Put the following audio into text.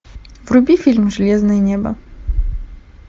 вруби фильм железное небо